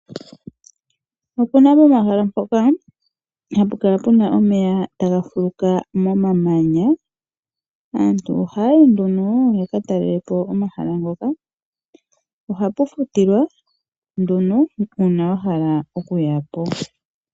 Opuna omahala ngoka haga kala gena omeya tagafuluka momamanya aantu oha yayi yaka talelepo omahala ngoka nohapu futilwa uuna wa hala okuyapo.